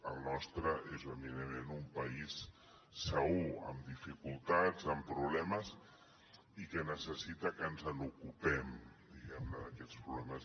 el nostre és eminentment un país segur amb dificultats amb problemes i que necessita que ens en ocupem diguem ne d’aquests problemes